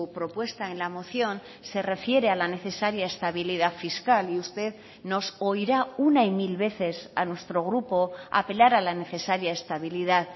propuesta en la moción se refiere a la necesaria estabilidad fiscal y usted nos oirá una y mil veces a nuestro grupo apelar a la necesaria estabilidad